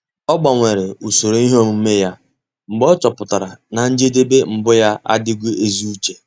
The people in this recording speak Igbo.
Ọ́ gbanwere usoro ihe omume ya mgbe ọ́ chọ́pụ̀tárà na njedebe mbụ yá ádị́ghị́ ézi úché.